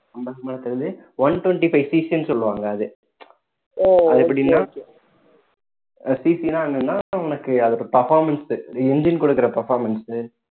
இருக்கறதுலயே one twenty-fiveCC ன்னு சொல்லுவாங்க அது அது எப்படின்னா CC ன்னா என்னன்னா உனக்கு அதோட performance engine குடுக்குற performance